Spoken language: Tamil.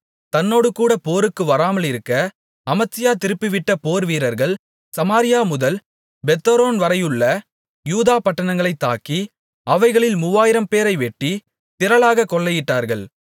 தன்னோடுகூட போருக்கு வராமலிருக்க அமத்சியா திருப்பிவிட்ட போர் வீரர்கள் சமாரியாமுதல் பெத்தொரோன்வரை உள்ள யூதா பட்டணங்களைத் தாக்கி அவைகளில் மூவாயிரம்பேரை வெட்டி திரளாகக் கொள்ளையிட்டார்கள்